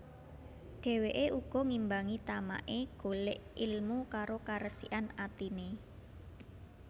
Dheweke uga ngimbangi tamake golek ilmu karo karesikan atine